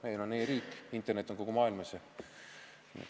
Meil on e-riik ja internet on kogu maailmas.